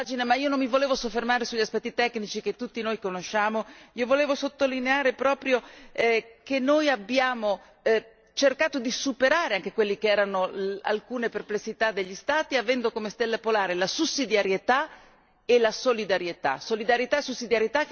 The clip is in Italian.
Sono tante le pagine, ma io non mi volevo soffermare sugli aspetti tecnici che tutti noi conosciamo, volevo sottolineare proprio che abbiamo cercato di superare anche quelle che erano alcune perplessità degli Stati, avendo come stella polare la sussidiarietà e la solidarietà.